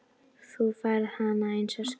Þú færð hana eins og skot.